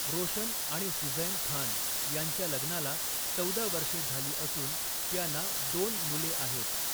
रोशन आणि सुझैन खान यांच्या लग्नाला चौदा वर्षे झाली असून त्यांना दोन मुले आहेत.